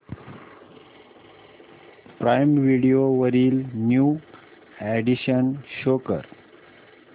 prime Video वरील new additions show कर